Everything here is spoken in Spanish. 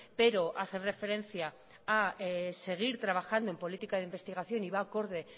pero hace referencia a seguir trabajando en política de investigación y va acorde